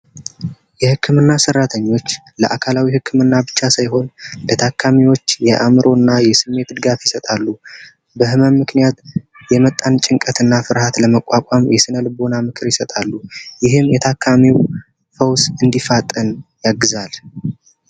የህክምና ሠራተኞች ለአካላዊ ህክምና ብቻ ሳይሆን የአዕምሮና የስሜት ድጋፍ ይሰጣሉ ምክንያት የመጣን ጭንቀትና ፍርሃት ለመቋቋም የስነ ልቦና ምክር ይሰጣሉ ይሄም የታካሚው ፈውስ እንዲፈጠን እግዚአብሔር